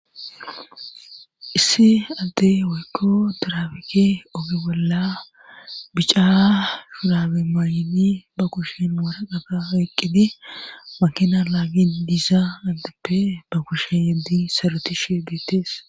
issi addey waykko daraabike oge bolla bica shurabe mayini ba kushin wara qaga weqqidi makina laagin diisa addeppe ba kushen yeddi saruti shigeetees